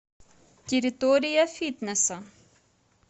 территория фитнеса